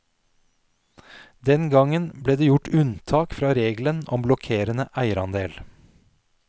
Den gangen ble det gjort unntak fra regelen om blokkerende eierandel.